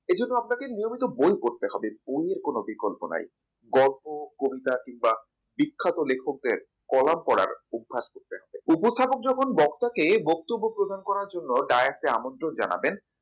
এইজন্য আপনাকে নিয়মিত বই পড়তে হবে অন্যের কোন বিকল্প নাই গল্প কবিতা কিংবা বিখ্যাত লেখকদের কলাপ পড়ার অভ্যাস করতে হবে উপস্থাপন যখন বক্তা কে বক্তব্য প্রদান করার জন্য direct এ আমন্ত্রণ জানাতেন